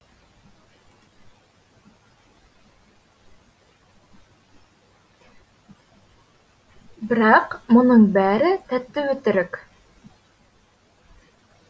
бірақ мұның бәрі тәтті өтірік